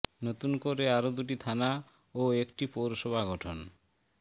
নতুন করে আরও দুটি থানা ও একটি পৌরসভা গঠন